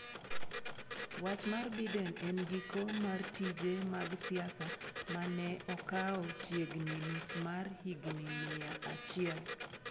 Wach mar Biden en giko mar tije mag siasa ma ne okawo chiegni nus mar higni mia achiel.